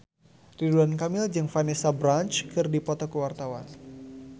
Ridwan Kamil jeung Vanessa Branch keur dipoto ku wartawan